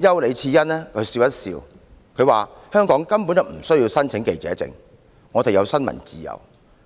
丘李賜恩只是笑了一笑，指香港根本無須申請記者證，因為"我們有新聞自由"。